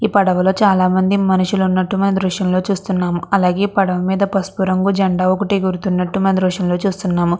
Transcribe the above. ఈ పడవలో చాల మంది మనుషులు ఉన్నట్టుగా దృశ్యం లో చూస్తున్నాం. అలాగే పడవ మీద పసుపు రంగు జెండా ఒకటి ఎగురుతున్నటు చూస్తున్నాం.